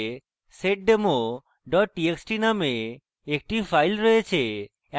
home ডাইরেক্টরিতে seddemo txt txt নামে একটি file রয়েছে